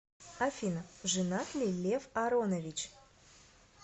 афина женат ли лев аронович